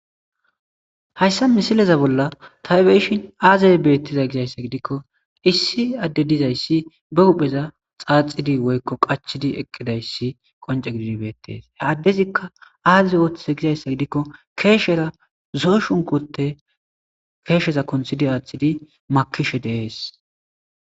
hayssa misileza bolla taybeyishin aazeye beettiza gizayssa gidikko issi adde dizayssi be hupheza xaaxidi woykko qachidi eqqidayssi qonce gididibeetees he addezikka aazeze ooththiza gizayssa gidikko keeshera zoo shunkote keesheza konthidi aaththidi makishe deees